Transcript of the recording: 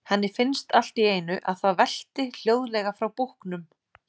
Henni finnst allt í einu að það velti hljóðlega frá búknum.